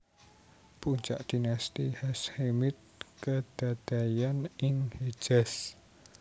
Puncak Dinasti Hashemite kedadéyan ing Hejaz